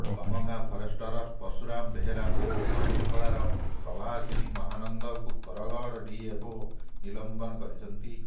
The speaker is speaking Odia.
କମଗାଁ ଫରେଷ୍ଟର ପର୍ଶୁରାମ ବେହେରା ଓ ହଜୁରୀପଡାର ପ୍ରଭାସିନୀ ମହାନନ୍ଦଙ୍କୁ ବରଗଡ ଡିଏଫଓ ନିଲମ୍ବିତ କରିଛନ୍ତି